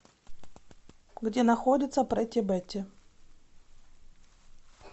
где находится прэтти бэтти